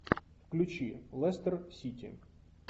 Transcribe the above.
включи лестер сити